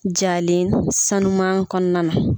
Jalen sanu kɔnɔna na.